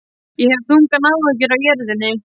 Ég hef þungar áhyggjur af jörðinni.